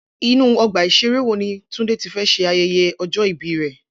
Inú ọgbà ìṣeré wo ni Túndé ti fẹ́ ṣe ayẹyẹ ọjọ́ ìbí rẹ̀?